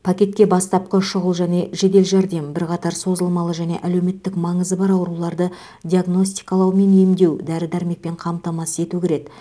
пакетке бастапқы шұғыл және жедел жәрдем бірқатар созылмалы және әлеуметтік маңызы бар ауруларды диагностикалау мен емдеу дәрі дәрмекпен қамтамасыз ету кіреді